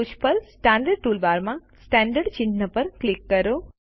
ટોચ પર સ્ટાન્ડર્ડ ટૂલબારમાં સેન્ટર્ડ ચિહ્ન પર ક્લિક કરો